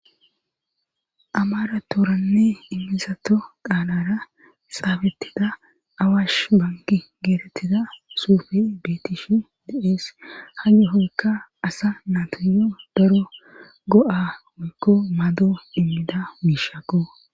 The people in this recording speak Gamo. Amara tooranne immisato qaalara xaabettida awash bangi geetettida suufe beetishi diees hage hoykka asa natuyo daro go7a oykko mado immida biishako